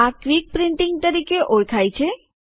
આ quick printing તરીકે ઓળખાય છે